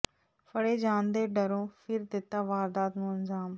ਫੜੇ ਜਾਣ ਦੇ ਡਰੋਂ ਫਿਰ ਦਿੱਤਾ ਵਾਰਦਾਤ ਨੂੰ ਅੰਜਾਮ